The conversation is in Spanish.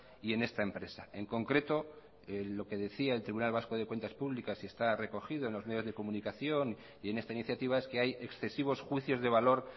y en esta empresa en concreto lo que decía el tribunal vasco de cuentas públicas y está recogido en los medios de comunicación y en esta iniciativa es que hay excesivos juicios de valor